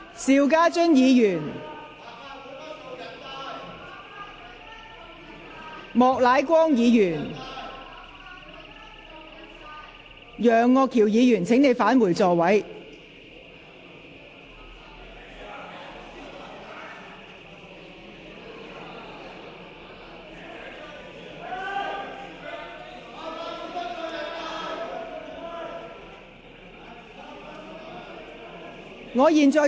邵家臻議員、莫乃光議員、楊岳橋議員，請返回座位。